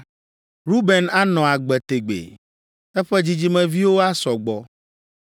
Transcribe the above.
“Ruben anɔ agbe tegbee eƒe dzidzimeviwo asɔ gbɔ!”